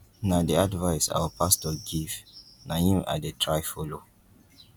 na the advice our pastor give na im i dey try follow